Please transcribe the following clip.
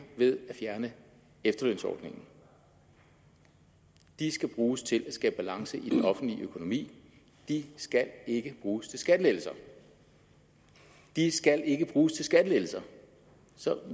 ved at fjerne efterlønsordningen skal bruges til at skabe balance i den offentlige økonomi de skal ikke bruges til skattelettelser de skal ikke bruges til skattelettelser